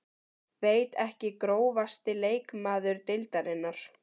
veit ekki Grófasti leikmaður deildarinnar?